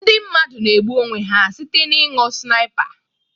Ndị mmadụ na-egbu onwe ha site n'ịnu Snipa